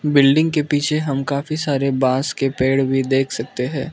Building के पीछे हम काफी सारे बास के पेड़ भी देख सकते हैं।